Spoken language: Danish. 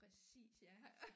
Præcis ja